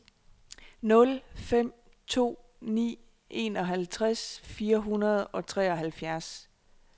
nul fem to ni enoghalvtreds fire hundrede og treoghalvfjerds